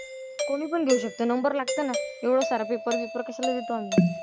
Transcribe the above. कोणीपण घेऊ शकतं नंबर लागतं ना. एवढं सारखं कशाला देतो आम्ही.